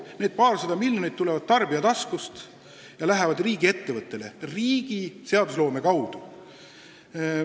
Need paarsada miljonit tulevad tarbija taskust ja lähevad seadusloome toel riigiettevõttele.